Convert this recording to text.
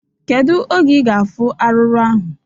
Kedu oge ị ga-afụ arụrụ ahụ?